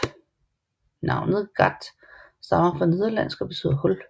Navnet gat stammer fra nederlandsk og betyder hul